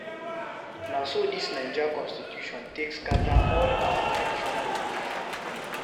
Na so dis naija constitution take scatter all our traditional belief.